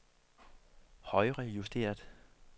højrejusteret